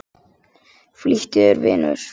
Flýttu þér, vinur.